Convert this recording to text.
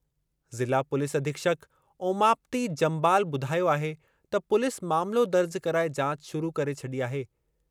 ज़िला पुलिस अधीक्षक ओमाप्ति जम्बाल ॿुधायो आहे त पुलिस मामलो दर्ज कराए जाच शुरू करे छॾी आहे।